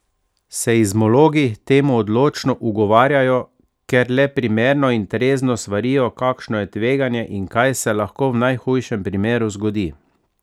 Seizmologi temu odločno ugovarjajo, ker le primerno in trezno svarijo, kakšno je tveganje in kaj se lahko v najhujšem primeru zgodi.